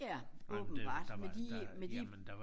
ja åbenbart med de med de